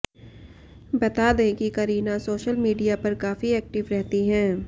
बता दें कि करीना सोशल मीडिया पर काफी एक्टिव रहती हैं